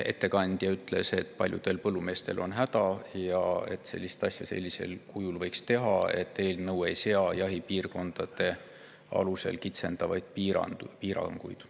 Ettekandja ütles, et paljudel põllumeestel on häda ning et seda asja võiks teha sellisel kujul, et eelnõu ei sea jahipiirkondade alusel kitsendavaid piiranguid.